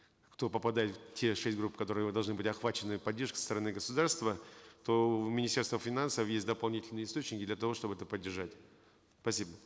кто попадает в те шесть групп которые вы должны были охвачены поддержкой со стороны государства то в министерстве финансов есть дополнительные источники для того чтобы это поддержать спасибо